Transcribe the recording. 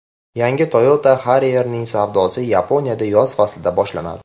Yangi Toyota Harrier’ning savdosi Yaponiyada yoz faslida boshlanadi.